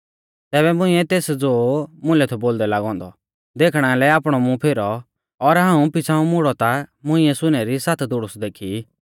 तैबै मुंइऐ तेस ज़ो मुलै थौ बोलदै लागौ औन्दौ देखणा लै आपणौ मुं फेरौ और हाऊं पिछ़ाऊं मुड़ौ ता मुंइऐ सुनै री सात धूड़ुस देखी